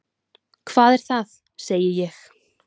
Hvað er það? segi ég.